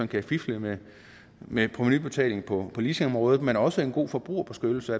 kan fifles med med provenubetalingen på leasingområdet men også en god forbrugerbeskyttelse